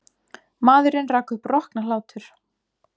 Maðurinn rak upp rokna hlátur.